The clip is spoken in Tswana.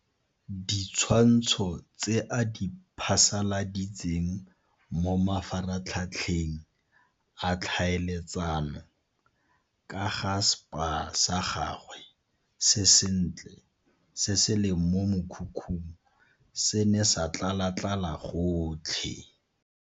Ditshwantsho tse a di phasaladitseng mo mafaratlhatlheng a ditlhaeletsano ka ga spa sa gagwe se sentle se se leng mo mokhukhung se ne sa tlalatlala gotlhe.